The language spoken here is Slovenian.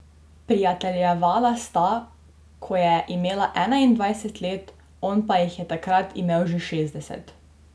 Prijateljevala sta, ko je imela enaindvajset let, on pa jih je takrat imel že šestdeset.